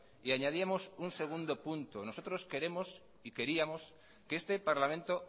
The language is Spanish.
y añadíamos un segundo punto nosotros queremos y queríamos que este parlamento